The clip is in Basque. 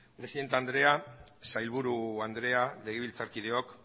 presidente andrea sailburu andrea legebiltzarkideok